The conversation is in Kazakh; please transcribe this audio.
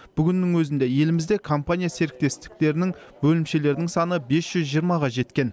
бүгіннің өзінде елімізде компания серіктестіктерінің бөлімшелерінің саны бес жүз жиырмаға жеткен